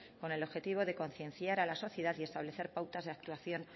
con el objetivo de concienciar a la sociedad y establecer pautas de actuación